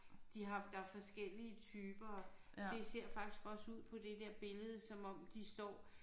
De har der er forskellige typer og det ser faktisk også ud på det der billede som om de står